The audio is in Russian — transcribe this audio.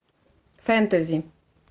фэнтези